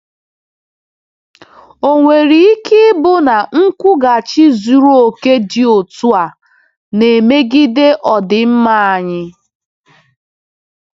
Ò nwere ike ịbụ na nkwụghachi zuru oke dị otu a na-emegide ọdịmma anyị?